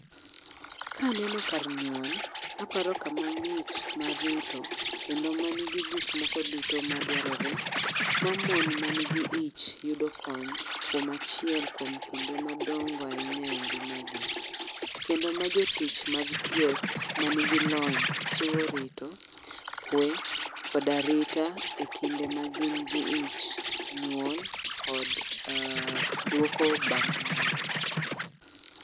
Kaneno kar nyuol, aparo kama ng'ich mar rito kendo ma nigi gik moko duto madwarore ma mon ma nigi ich yudo kony, kuom achiel kuom kinde madongo ahinya e ngimagi. Kendo ma jotich mag thieth ma nigi lony chiwo rito, kwe kod arita e kinde ma gin gi ich, nyuol kod um duoko bang' nyuol